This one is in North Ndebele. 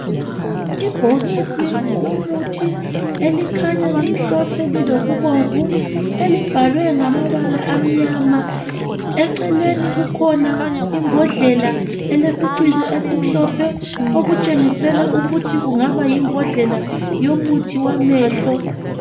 Ibhokisi lomuthi elikhanya limhlophe lilokubomvu elibhalwe ngamabala amnyama eceleni kukhona imbodlela elesiciko esimhlophe okutshengisela ukuthi kungaba yimbodlela yomuthi wamehlo.